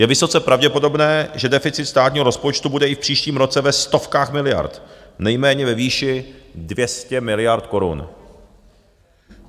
Je vysoce pravděpodobné, že deficit státního rozpočtu bude i v příštím roce ve stovkách miliard, nejméně ve výši 200 miliard korun.